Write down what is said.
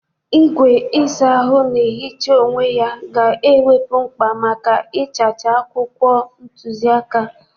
Igwe ịsa ahụ na-ehicha onwe ya ga-ewepụ mkpa maka ịchacha akwụkwọ ntuziaka.